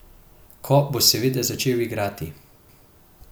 Ko bo seveda začel igrati.